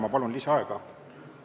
Ma palun lisaaega!